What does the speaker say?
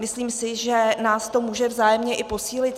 Myslím si, že nás to může vzájemně i posílit.